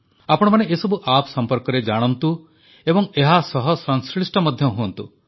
ଆପଣମାନେ ଏସବୁ ଆପ୍ ସମ୍ପର୍କରେ ଜାଣନ୍ତୁ ଏବଂ ଏହା ସହ ସଂଶ୍ଲିଷ୍ଟ ମଧ୍ୟ ହୁଅନ୍ତୁ